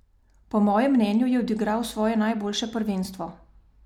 Po mojem mnenju je odigral svoje najboljše prvenstvo.